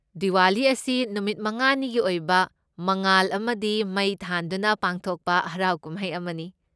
ꯗꯤꯋꯥꯂꯤ ꯑꯁꯤ ꯅꯨꯃꯤꯠ ꯃꯉꯥꯅꯤꯒꯤ ꯑꯣꯏꯕ ꯃꯉꯥꯜ ꯑꯃꯗꯤ ꯃꯩ ꯊꯥꯟꯗꯨꯅ ꯄꯥꯡꯊꯣꯛꯄ ꯍꯔꯥꯎ ꯀꯨꯝꯍꯩ ꯑꯃꯅꯤ꯫